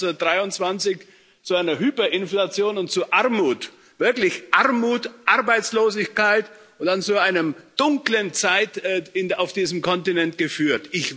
Das hat 1923 zu einer Hyperinflation und zu Armut, wirklicher Armut, Arbeitslosigkeit und dann zu einer dunklen Zeit auf diesem Kontinent geführt.